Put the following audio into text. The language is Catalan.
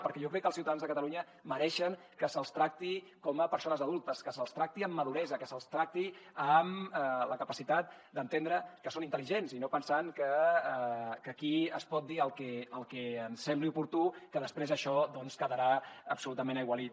perquè jo crec que els ciutadans de catalunya mereixen que se’ls tracti com a persones adultes que se’ls tracti amb maduresa que se’ls tracti amb la capacitat d’entendre que són intel·ligents i no pensant que aquí es pot dir el que ens sembli oportú que després això quedarà absolutament aigualit